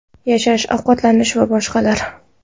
Yashash, ovqatlanish va boshqalar.